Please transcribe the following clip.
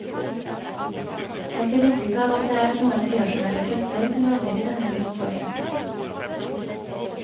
En får inntrykk av at det er noen irrasjonelle krefter som råder i denne luftfarten.